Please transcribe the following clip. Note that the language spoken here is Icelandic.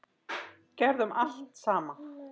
Gerðum allt saman.